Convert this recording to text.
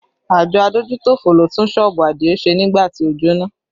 Àjọ adójútòfò ló tún sọ́ọ̀bù Adio ṣe nígbà tí ó jóná